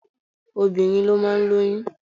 Obìnrin ló máa ń lóyún.